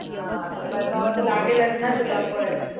हां पण बनवावं तर लागेलच ना तुलापण.